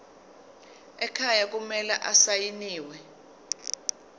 ekhaya kumele asayiniwe